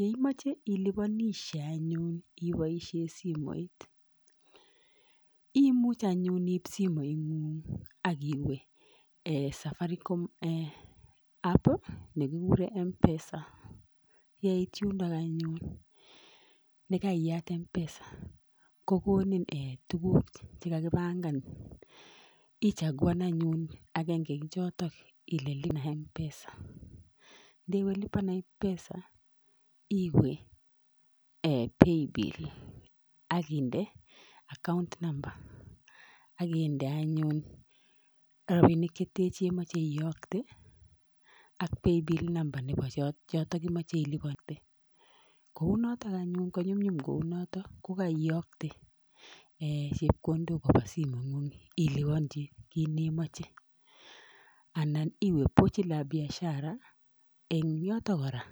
Yeimoche iliponishie anyun iboishien simoit, imuch anyun iib simoingung ak iwee safaricom app nekikuuren mpesa. Yeiit yundok anyun yekaiyaat mpesa, kokonii tuguuk chekakipangaan .Ichaguan anyun agenge en chotok Iwe lipa na mpesa. Yekeiwe yotok iwe paybill akinde account number akinde anyun rabinik chetech chemoche iyookte ak paybill number chotok cheimoche iliponyii. Kounotok anyun konyumnyum kounotok. Kogaiyoktee chepkondook koba simoingung Ile iliponyii kit nemoche anan iwe pochi la biashara. En yotok kora